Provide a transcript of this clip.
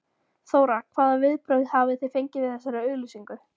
Þóra: Hvaða viðbrögð hafið þið fengið við þessari auglýsingu?